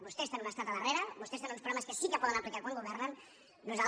vostès tenen un estat al darrere vostès tenen uns programes que sí que poden aplicar quan governen